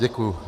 Děkuji.